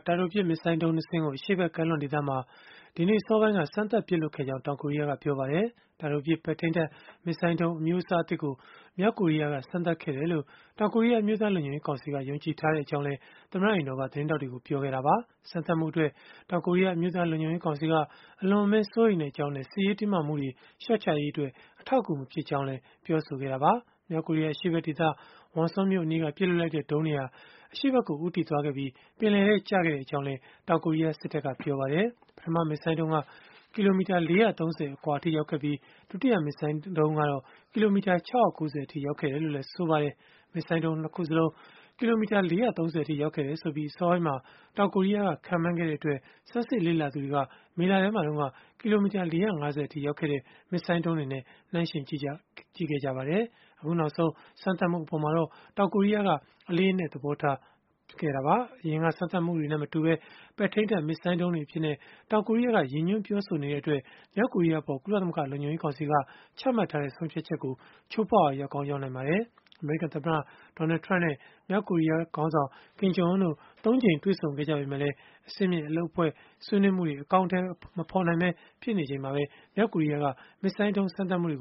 တာတိုပစ် မစ်ဇိုင်းဒုံး ၂ စင်းကို အရှေ့ဖက် ကမ်းလွန်ဒေသမှာ ဒီနေ့အစောပိုင်းက စမ်းသပ်ပစ်လွှတ်ခဲ့ကြောင်း တောင်ကိုရီးယားက ပြောပါတယ်။ တာတိုပစ် ပဲ့ထိန်းတပ် မစ်ဇိုင်းဒုံး အမျိုးအစားသစ်ကို မြောက်ကိုရီးယားက စမ်းသပ်ခဲ့တယ်လို့ တောင်ကိုရီးယား အမျိုးသား လုံခြုံရေးကောင်စီက ယုံကြည်ထားကြောင်းလည်း သမ္မတအိမ်တော်က သတင်းထောက်တွေကို ပြောဆိုခဲ့တာပါ။ စမ်းသပ်မှုအတွက် တောင်ကိုရီးယား အမျိုးသားလုံခြုံရေးကောင်စီက အလွန်အမင်း စိုးရိမ်ကြောင်းနဲ့ စစ်ရေး တင်းမာမှုတွေ လျှော့ချရေးအတွက် အထောက်အကူ မဖြစ်ကြောင်းလည်း ပြောဆိုခဲ့တာပါ။ မြောက်ကိုရီးယား အရှေ့ဖက်ဒေသ Wonsan မြို့အနီးက ပစ်လွှတ်လိုက်တဲ့ ဒုံးတွေဟာ အရှေ့ဖက်ကို ဦးတည်သွားခဲ့ပြီး ပင်လယ်ထဲကျခဲ့ကြောင်းလည်း တောင်ကိုရီးယား စစ်တပ်က ပြောပါတယ်။ ပထမ မစ်ဇိုင်းဒုံးက ကီလိုမီတာ ၄၃၀ အကွာအထိ ရောက်ခဲ့ပြီး၊ ဒုတိယမစ်ဇိုင်းကတော့ ကီလိုမီတာ ၆၉၀ အထိ ရောက်ခဲ့တယ်လို့လည်း ဆိုပါတယ်။ မစ်ဇိုင်းဒုံး ၂ ခုစလုံးဟာ ကီလိုမီတာ ၄၃၀ အထိရောက်ခဲ့ကြောင်း အစောပိုင်းမှာ တောင်ကိုရီးယားက ခန့်မှန်းခဲ့တဲ့အတွက် ဆန်းစစ်လေ့လာသူတွေက မေလထဲမှာ ကီလိုမီတာ ၄၅၀ အထိ ရောက်ခဲ့တဲ့ မစ်ဇိုင်းဒုံးတွေနဲ့ နှိုင်းယှဉ်ကြည့်ခဲ့ကြတာပါ။ အခုနောက်ဆုံး စမ်းသပ်မှု အပေါ်မှာတော့ တောင်ကိုရီးယားက အလေးအနက် သဘောထားခဲ့ပါတယ်။ အရင်က စမ်းသပ်မှုမျိုးနဲ့ မတူဘဲ ပဲ့ထိန်းတပ် မစ်ဇိုင်းဒုံးတွေအဖြစ် တောင်ကိုရီးယားက ရည်ညွှန်းပြောဆိုနေတဲ့အတွက် မြောက်ကိုရီးယားအပေါ် ကုလသမဂ္ဂ လုံခြုံရေးကောင်စီက ချမှတ်ထားတဲ့ ဆုံးဖြတ်ချက်ကို ချိုးဖောက်ရာ ရောက်ကောင်းရောက်နိုင်ပါတယ်။ အမေရိကန်သမ္မတ Donald Trump နဲ့ မြောက်ကိုရီးယားခေါင်းဆောင် Kim Jong Un တို့ ၃ ကြိမ် တွေ့ဆုံခဲ့ကြပေမဲ့လည်း အဆင့်မြင့် အလုပ်အဖွဲ့ ဆွေးနွေးမှုတွေ အကောင်အထည် မဖော်နိုင်ပဲ ဖြစ်နေချိန်မှာပဲ မြောက်ကိုရီးယားက မစ်ဇိုင်းဒုံးစမ်းသပ်မှုတွေ